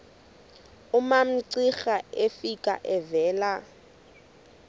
umamcira efika evela